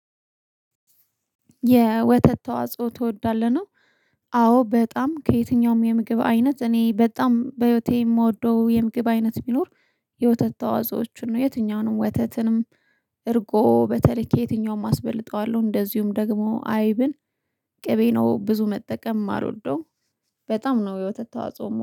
የወተት ተዋጽኦ ትወዳለህ? ነው አዎ በጣም ከየትኛውም የምግብ አይነት እኔ በጣም በህይወቴ የምወደው የምግብ አይነት ቢኖር የወተት ተዋጽዎችን ነው የትኛውንም ወተትንም እርጎ በተለይ ከየትኛውም አስበልጠዋለሁ እንደዚሁም ደግሞ አይብን ቅቤ ነው ብዙ መጠቀም የማልወደው በጣም ነው የወተት ተዋጽኦ የምወደው።